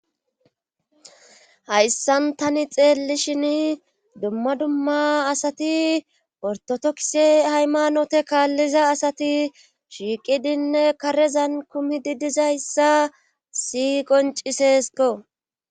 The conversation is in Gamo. hayssan tani xeellishin dumma dumma asati ortodokse haymanote kaalliza asati shiiqidinne karezan kumi di dizayssa haysi qoncisesko